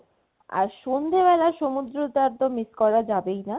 আর সন্ধ্যে বেলা সমুদ্র তো একবারে miss করা যাবেই না